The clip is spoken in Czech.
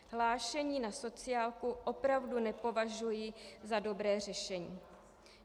Hlášení na sociálku opravdu nepovažuji za dobré řešení.